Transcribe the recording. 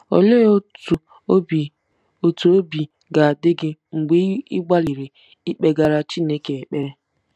Olee otú obi otú obi ga-adị gị mgbe ị gbalịrị ikpegara Chineke ekpere?